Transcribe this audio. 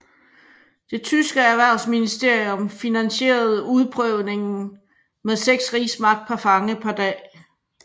Det tyske erhvervsministerium finansierede udprøvningen med seks rigsmark per fange per dag